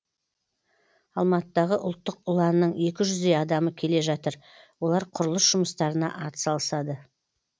алматыдағы ұлттық ұланның екі жүздей адамы келе жатыр олар құрылыс жұмыстарына атсалысады